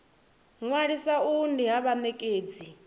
ṅwalisa uhu ndi ha vhanekedzi